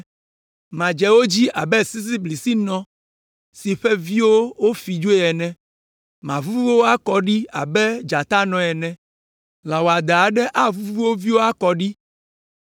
Madze wo dzi abe sisiblisinɔ si ƒe viwo wofi dzoe ene, mavuvu wo akɔ ɖi abe dzatanɔ ene. Lã wɔadã aɖe avuvu wo viwo akɔ ɖi.